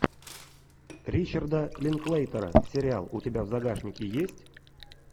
ричарда линклейтера сериал у тебя в загашнике есть